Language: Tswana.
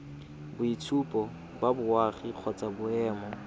boitshupo ba boagi kgotsa boemo